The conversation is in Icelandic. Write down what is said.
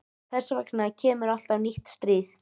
Þess vegna kemur alltaf nýtt stríð.